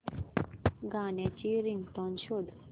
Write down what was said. गाण्याची रिंगटोन शोध